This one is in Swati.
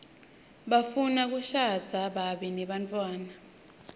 bafuna kushadza babe nebantfwana